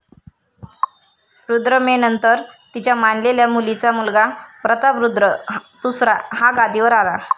रुद्रमेनंतर तिच्या मानलेल्या मुलीचा मुलगा प्रतापरुद्र दुसरा हा गादीवर आला.